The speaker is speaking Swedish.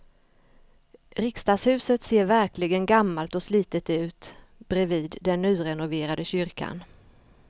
Riksdagshuset ser verkligen gammalt och slitet ut bredvid den nyrenoverade kyrkan.